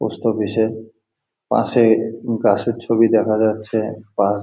post office -এর পাশে bus -এর ছবি দেখা যাচ্ছে আর--